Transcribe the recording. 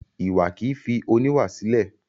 Iwa kì í fi oníwà sílẹ̀.